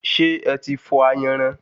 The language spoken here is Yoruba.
Ṣé eti fọ̀ ayanran?